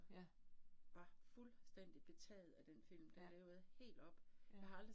Ja. Ja, ja